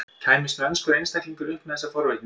Kæmist mennskur einstaklingur upp með þessa forvitni?